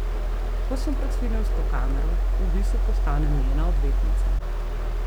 Ko sem pred filmsko kamero, v bistvu postanem njena odvetnica.